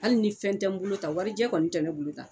Hali ni fɛn tɛ n bolo tan warijɛ kɔni tɛ ne bolo tan